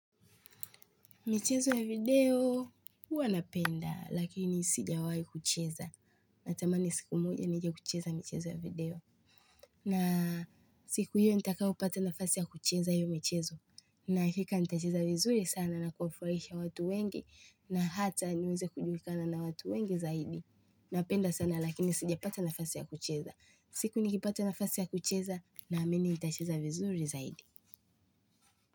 Michezo ya video, huwa napenda, lakini sija wahi kucheza. Matamani siku moja, nijekucheza michezo ya video. Na siku hiyo, nitakau pata nafasi ya kucheza yu michezo. Na hika nitacheza vizuri sana na kufuwaisha watu wengi, na hata niweze kujulikana na watu wengi zaidi. Napenda sana, lakini sija pata nafasi ya kucheza. Siku nikipata nafasi ya kucheza, na ameni nitacheza vizuri zaidi.